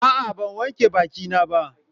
A'a ban wanke bakina ba.